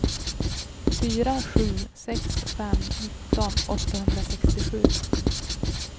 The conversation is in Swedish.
fyra sju sex fem nitton åttahundrasextiosju